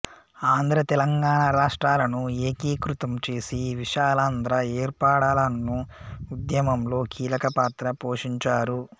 ఆంధ్ర తెలంగాణా రాష్ట్రాలను ఏకీకృతం చేసి విశాలాంధ్ర ఏర్పడాలన్ను ఉద్యమంలో కీలక పాత్ర పోషించారు